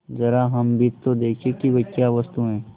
जरा हम भी तो देखें कि वह क्या वस्तु है